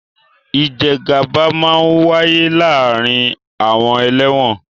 Ìjẹgàba máa ń wáyé láàárín àwọn ẹlẹ́wọ̀n